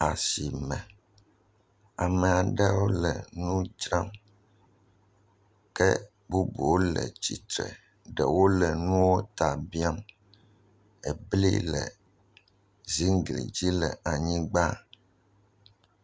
Ashime, ame aɖewo le nu dzram. Ke bubuwo le tsitre. Ɖewo le nuwo ta biam. Ebli le ziŋgli dzi le anyigba.